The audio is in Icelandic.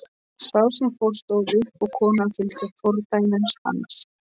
Sá sem fór stóð upp og konan fylgdi fordæmi hans.